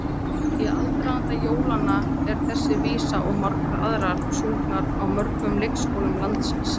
Í aðdraganda jólanna er þessi vísa og margar aðrar sungnar á mörgum leikskólum landsins.